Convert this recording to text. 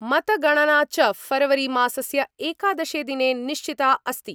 मतगणना च फरवरीमासस्य एकादशे दिने निश्चिता अस्ति।